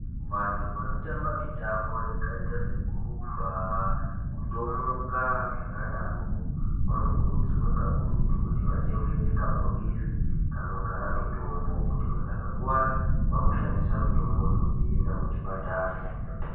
Vantu vanotamba mitambo yakaita sekurumba, kutomuka zvakadarokwo vanokurudzirwa kakurutu kuti vachengete kabhokisi kanogara mitombo muntu akakuwara vamboshandisa mitomboyo veienda kuchipatara.